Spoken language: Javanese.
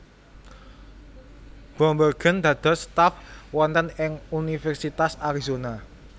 Bloembergen dados staf wonten ing Universitas Arizona